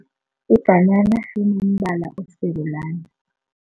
Ibhanana linombala osarulana.